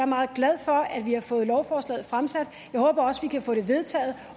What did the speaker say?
meget glad for at vi har fået lovforslaget fremsat jeg håber også vi kan få det vedtaget